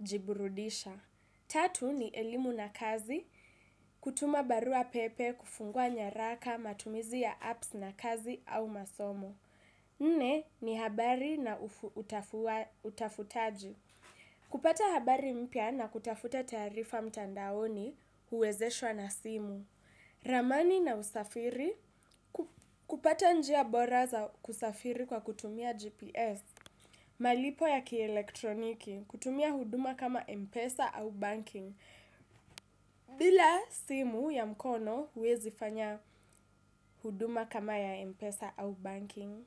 jiburudisha. Tatu, ni elimu na kazi, kutuma barua pepe, kufungua nyaraka, matumizi ya apps na kazi au masomo. Nne, ni habari na utafutaji. Kupata habari mpya na kutafuta taarifa mtandaoni huwezeshwa na simu, ramani na usafiri, kupata njia bora za kusafiri kwa kutumia GPS, malipo ya kielektroniki, kutumia huduma kama Mpesa au banking, bila simu ya mkono huwezi fanya huduma kama ya Mpesa au banking.